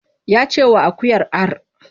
Ya ce wa akuyar ar!